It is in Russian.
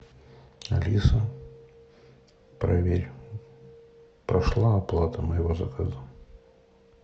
алиса проверь прошла оплата моего заказа